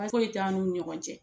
Baasi foyi t'an n'u ni ɲɔgɔn cɛ